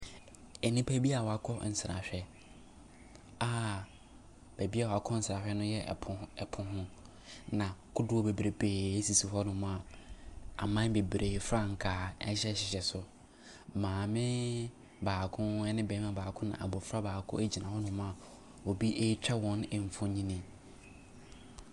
Nnipa bi a wɔakɔ nsrahwɛ a baabi a wɔkɔ nsrahwɛ no yɛ po ho po ho, na kodoɔ bebree sisi hɔnom a aman bebree frankaa hyehyɛ so. Maame baako ne barima baako na abɔfra baako gyina hɔnom a obi retwa wɔn mfonini.